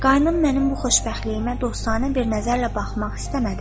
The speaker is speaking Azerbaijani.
Qayınım mənim bu xoşbəxtliyimə dostyanə bir nəzərlə baxmaq istəmədi.